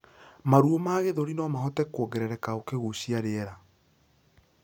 Maruo ma gĩthũri nomahote kuongerereka ukigucia rĩera